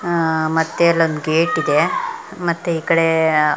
ಆಹ್ಹ್ ಮತ್ತೆ ಅಲ್ಲೊಂದು ಗೇಟ್ ಇದೆ ಮತ್ತೆ ಈ ಕಡೆ ಆಹ್ಹ್ --